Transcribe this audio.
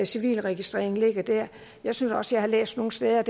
civilregistrering ligger der jeg synes også jeg har læst nogle steder at